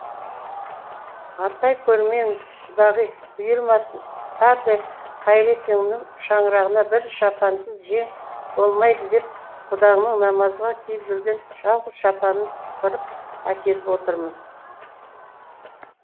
атай көрмеңіз құдағи бұйырмасын дардай қайырекеңнің шаңырағына бір шапансыз жең болмайды деп құдаңның намазға киіп жүрген жалғыз шапанын сыпырып әкеліп отырмын